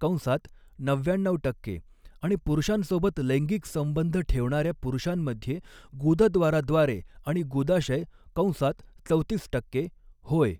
कंसात नव्याण्णऊ टक्के, आणि पुरुषांसोबत लैंगिक संबंध ठेवणाऱ्या पुरुषांमध्ये गुदद्वाराद्वारे आणि गुदाशय कंसात चौतीस टक्के होय.